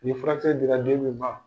Nin furakisɛ dira den min ma